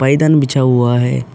पायदान बिछा हुआ है।